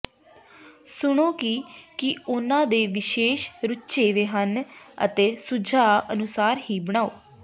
ਸੁਣੋ ਕਿ ਕੀ ਉਨ੍ਹਾਂ ਦੇ ਵਿਸ਼ੇਸ਼ ਰੁਝੇਵੇਂ ਹਨ ਅਤੇ ਸੁਝਾਅ ਅਨੁਸਾਰ ਹੀ ਬਣਾਉ